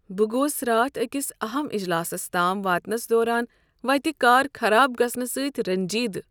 بہٕ گوس راتھ أکس اہم اجلاسس تام واتنس دوران وتہِ كار خراب گژھنہٕ سٕتۍ رنجیدٕہ ۔